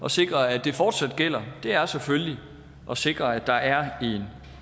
at sikre at det fortsat gælder er selvfølgelig at sikre at der er en